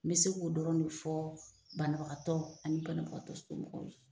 N bɛ se k'o dɔrɔn de fɔ banabagatɔ ani banabagatɔ somɔgɔw ye.